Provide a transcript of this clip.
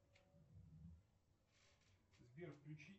сбер включи